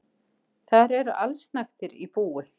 Þar eru allsnægtir í búi.